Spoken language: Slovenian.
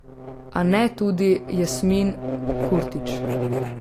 A ne tudi Jasmin Kurtić.